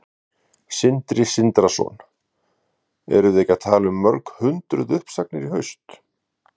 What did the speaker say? Sindri Sindrason: Erum við ekki að tala um mörg hundruð uppsagnir í haust?